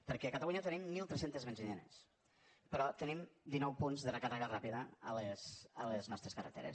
perquè a catalunya tenim mil tres cents benzineres però tenim dinou punts de recàrrega ràpida a les nostres carreteres